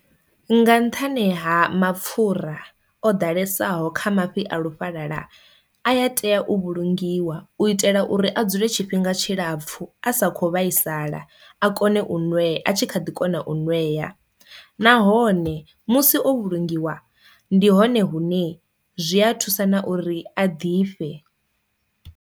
Nga nṱhani ha mapfura o ḓalesaho kha mafhi a lufhalala aya tea u vhulungiwa u itela uri a dzule tshifhinga tshilapfu a sa kho vhaisala a kone u nwe a tshi kha ḓi kona u nwea, nahone musi o vhulungiwa ndi hone hune zwi a thusa na uri a ḓifhe.